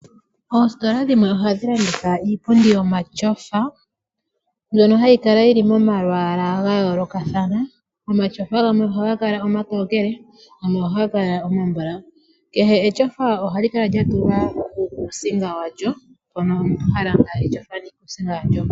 Oositola dhimwe ohadhi landitha iipundi yomatyofa mbyono hayi kala yili momalwaalwa ga yoolokathana . Omatyofa gamwe ohaga kala omatokele gamwe ohaga kala omambulawu kehe etyofa ohali kala lya tulwa uukusinga walyo mpono omuntu ha landa etyofa niikusinga yalyo.